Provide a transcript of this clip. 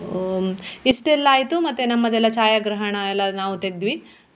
ಹ್ಮ್ ಇಷ್ಟೆಲ್ಲ ಆಯ್ತು ಮತ್ತೆ ನಮ್ಮದೆಲ್ಲ ಛಾಯಾಗ್ರಹಣ ಎಲ್ಲ ನಾವು ತೆಗ್ದ್ವಿ.